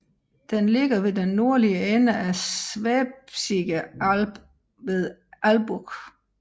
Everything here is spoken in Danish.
Den ligger ved den nordlige ende af Schwäbische Alb ved Albuch